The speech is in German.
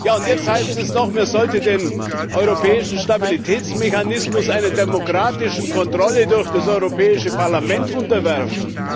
Und jetzt heißt es noch, man sollte den Europäischen Stabilitätsmechanismus einer demokratischen Kontrolle durch das Europäische Parlament unterwerfen.